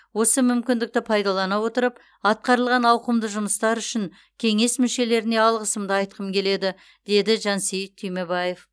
осы мүмкіндікті пайдалана отырып атқарылған ауқымды жұмыстар үшін кеңес мүшелеріне алғысымды айтқым келеді деді жансейіт түймебаев